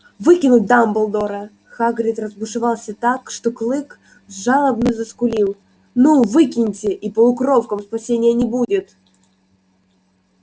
выкинуть дамблдора хагрид разбушевался так что клык жалобно заскулил ну выкинете и полукровкам спасения не будет